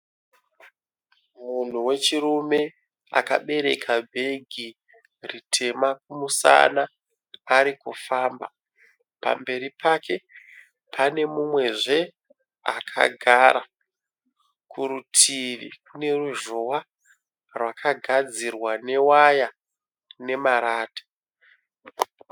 Munhu wechirume akabereka bhegi ritema kumusana arikufamba. Pamberi pake pane mumwezve akagara. Kuritivi kuneruzhowa rwakagadzirwa newaya nemarata.